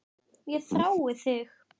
Ég þrái þig